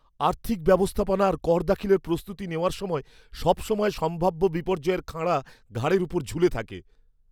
আর্থিক ব্যবস্থাপনা আর কর দাখিলের প্রস্তুতি নেওয়ার সময় সবসময় সম্ভাব্য বিপর্যয়ের খাঁড়া ঘাড়ের ওপর ঝুলে থাকে।